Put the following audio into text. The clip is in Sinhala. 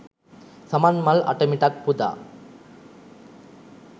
සමන්මල් අටමිටක් පුදා